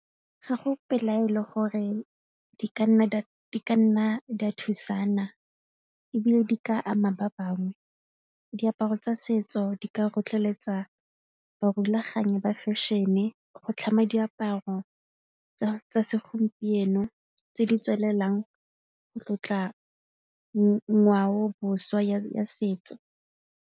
Ga go pelaelo gore di ka nna di thusana ebile di ka ama ba bangwe diaparo tsa setso di ka tlhotlheletsa ba thulaganyo ba fashion-e go tlhama diaparo tsa segompieno tse di tswelelang go tlotla ngwaoboswa jwa setso.